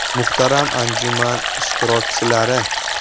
Muhtaram anjuman ishtirokchilari!